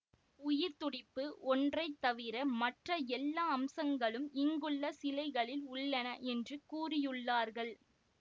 உயிர்த்துடிப்பு ஒன்றை தவிர மற்ற எல்லா அம்சங்களும் இங்குள்ள சிலைகளில் உள்ளன என்று கூறியுள்ளார்கள்